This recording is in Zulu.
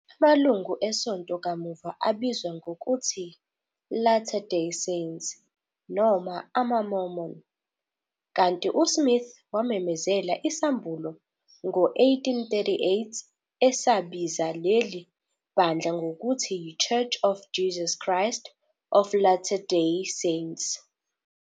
Amalungu esonto kamuva abizwa ngokuthi "Latter Day Saints" noma "amaMormon", kanti uSmith wamemezela isambulo ngo-1838 esabiza leli bandla ngokuthi yiChurch of Jesus Christ of Latter Day Saints